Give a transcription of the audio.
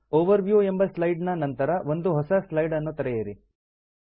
overview ಎಂಬ slide ನ ನಂತರ ಒಂದು ಹೊಸ ಸ್ಲೈಡ್ ಅನ್ನು ತೆರೆಯಿರಿ